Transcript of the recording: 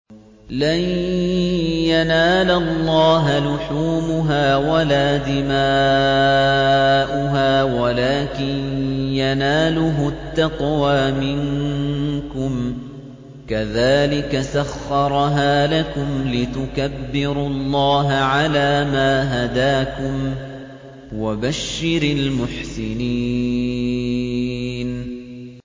لَن يَنَالَ اللَّهَ لُحُومُهَا وَلَا دِمَاؤُهَا وَلَٰكِن يَنَالُهُ التَّقْوَىٰ مِنكُمْ ۚ كَذَٰلِكَ سَخَّرَهَا لَكُمْ لِتُكَبِّرُوا اللَّهَ عَلَىٰ مَا هَدَاكُمْ ۗ وَبَشِّرِ الْمُحْسِنِينَ